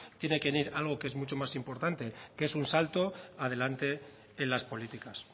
tiene que venir algo que es mucho más importante que es un salto adelante en las políticas